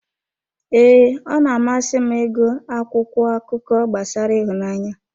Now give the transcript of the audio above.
Ee, ọ na-amasị m ịgụ akwụkwọ akụkọ gbasara ịhụnanya.